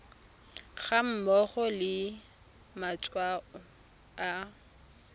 ga mmogo le matshwao a